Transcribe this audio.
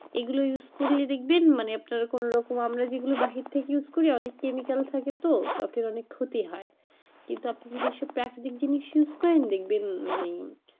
এগুলো use করলে দেখবেন মানে আপনার কোন রকম আমরা যেগুলো বাহির থেকে use করি chemical থাকে তো ত্বক এর অনেক ক্ষতি হয় কিন্তু আপনি যদি এসব প্রাকৃতিক জিনিস use করেন দেখবেন মানে,